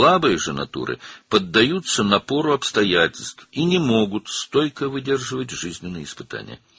Zəif təbiətlər isə şəraitin təzyiqinə tab gətirir və həyat sınaqlarına tab gətirə bilmirlər.